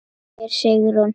spyr Sigrún.